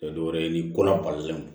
Tɛ dɔwɛrɛ ye ni ko la balilen don